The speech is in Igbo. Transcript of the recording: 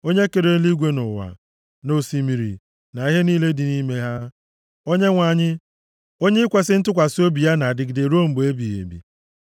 Onye kere eluigwe na ụwa, na osimiri, na ihe niile dị nʼime ha, Onyenwe anyị, onye ikwesi ntụkwasị obi ya na-adịgide ruo mgbe ebighị ebi.